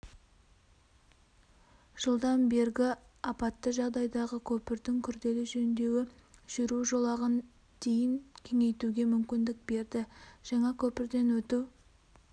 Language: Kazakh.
жылдан бергі апатты жағдайдағы көпірдің күрделі жөндеуі жүру жолағын дейін кеңейтуге мүмкіндік берді жаңа көпірден өту